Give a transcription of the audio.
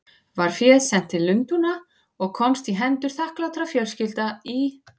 Var féð sent til Lundúna og komst í hendur þakklátra fjölskyldna í